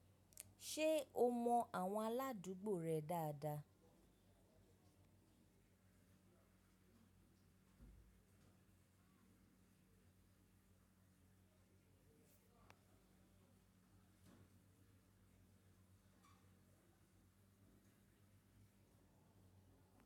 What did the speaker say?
Ṣé o mọ àwọn aládùúgbò rẹ dáadáa?